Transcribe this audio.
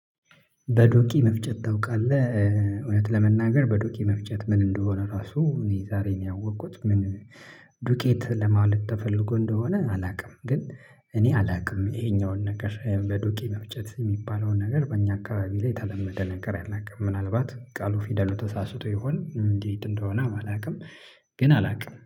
በዱቄ መፍጨት ታውቃለህ እውነት ለመናገር በዱቄ መፍጨት ምን እንደሆነ ራሱ እኔ ዛሬን ያወቅኩት ምን ዱቄት ለማለት ተፈልጎ እንደሆነ አላውቅም። ግን እኔ አላውቅም ይሄኛውን ነገር በዱቅ መፍጨት የሚባለውን ነገር በእኛ አካባቢ ላይ የተለመደ ነገር አላቀም። ምናልባት ቃሉ ፊደሉ ተሳስቶ ይሆን እንዴት እንደሆነ አላውቅም። ግን አላውቅም